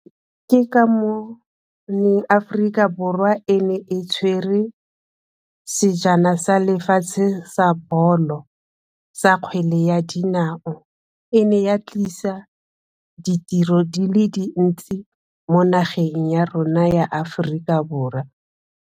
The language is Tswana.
Ke ka moo le Aforika Borwa e ne e tshwere sejana sa lefatshe sa bolo sa kgwele ya dinao, e ne ya tlisa ditiro di le dintsi mo nageng ya rona ya Aforika Borwa.